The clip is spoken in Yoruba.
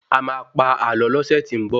A máa pa àlọ lọ́sẹ̀ tí n bọ̀